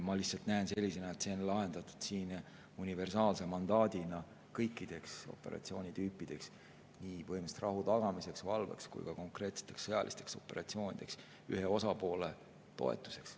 Ma lihtsalt näen seda sellisena, et see on lahendatud universaalse mandaadina kõikide operatsioonitüüpide tarvis, nii põhimõtteliselt rahu tagamisel, valvel kui ka konkreetsetel sõjalistel operatsioonidel ühe osapoole toetuseks.